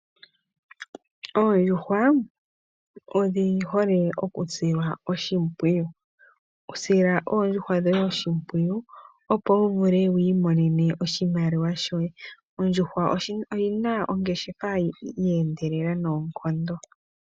Oondjuhwa odhi hole okusilwa oshimpwiyu. Sila oondjuhwa dhoye oshimpwiyu opo wuvule wiimonene oshimaliwa shoye. Oondjuhwa odhina ongeshefa yeendelela noonkondo.